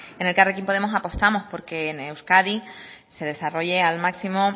en elkarrekin podemos apostamos porque en euskadi se desarrolle al máximo